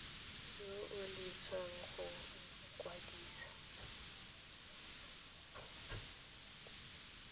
yo o eletsang go ikwadisa